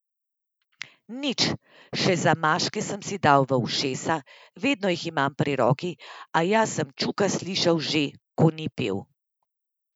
Nič, še zamaške sem si dal v ušesa, vedno jih imam pri roki, a jaz sem čuka slišal že, ko ni pel.